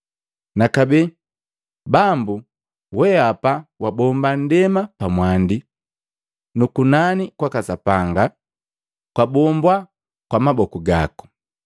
Nakabee: “Bambu, weapa wabomba nndema pamwandi, nu kunani kwaka Sapanga kwa bombwa kwa maboku gaku.